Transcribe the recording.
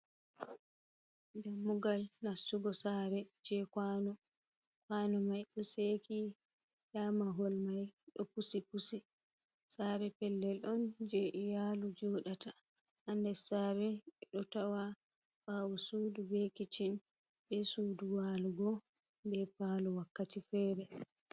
Dammugal nastugo sare je kwanu mai do seki, nda mahol mai ɗo pusi pusi, sare pellel on je e yalu joɗata, ha nder sare ɓe do tawa bawo sudu, be keccin, be sudu walugo be palo wakkati fere.